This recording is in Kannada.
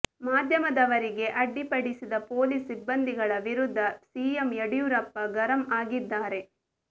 ಮಾಧ್ಯಮದವರಿಗೆ ಅಡ್ಡಿಪಡಿಸಿದ ಪೊಲೀಸ್ ಸಿಬ್ಬಂದಿಗಳ ವಿರುದ್ಧ ಸಿಎಂ ಯಡಿಯೂರಪ್ಪ ಗರಂ ಆಗಿದ್ದಾರೆ